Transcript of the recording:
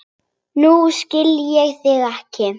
Nú skil ég þig ekki.